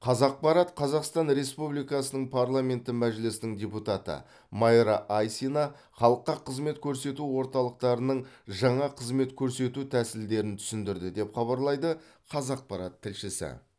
қазақпарат қазақстан республикасының парламенті мәжілісінің депутаты майра айсина халыққа қызмет көрсету орталықтарының жаңа қызмет көрсету тәсілдерін түсіндірді деп хабарлайды қазақпарат тілшісі